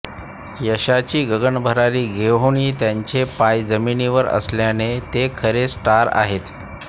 यशाची गगनभरारी घेऊनही त्यांचे पाय जमिनीवर असल्याने ते खरे स्टार आहेत